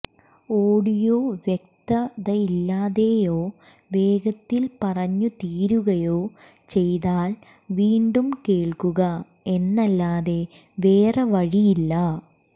audio വ്യക്തതയില്ലാതെയോ വേഗത്തിൽ പറഞ്ഞ് തീരുകയോ ചെയ്താൽ വീണ്ടും കേൾക്കുക എന്നല്ലാതെ വേറെ വഴിയില്ല